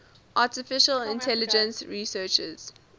artificial intelligence researchers